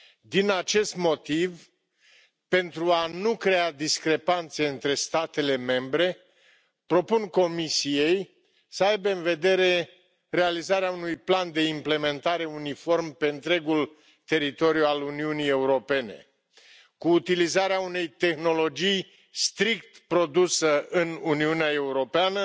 Din acest motiv, pentru a nu crea discrepanțe între statele membre, propun Comisiei să aibă în vedere realizarea unui plan de implementare uniform pe întregul teritoriu al Uniunii Europene, cu utilizarea unei tehnologii strict produse în Uniunea Europeană